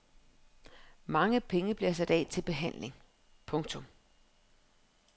Mange penge bliver sat af til behandling. punktum